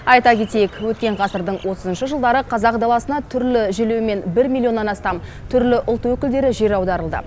айта кетейік өткен ғасырдың отызыншы жылдары қазақ даласына түрлі желеумен бір миллионнан астам түрлі ұлт өкілдері жер аударылды